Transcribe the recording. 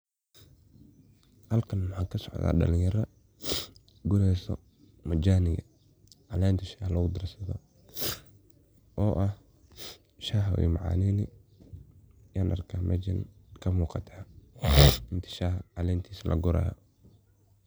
Halkan waxa kasocda dalinyaro gureyso majaniga, calenta shah lagu darsadho oo ah shah ayay macaneyni ayan arka mejan kamuqata calenti shaha lagurayo.